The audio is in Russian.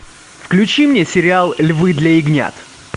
включи мне сериал львы для ягнят